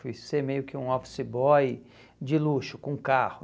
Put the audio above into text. Fui ser meio que um office boy de luxo, com carro.